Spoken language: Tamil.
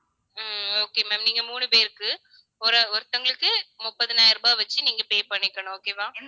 ஹம் okay ma'am நீங்க மூணு பேருக்கு ஒரு~ ஒருத்தங்களுக்கு முப்பதாயிரம் ரூபாய் வச்சு நீங்க pay பண்ணிக்கணும் okay வா